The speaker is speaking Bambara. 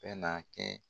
Bɛ na kɛ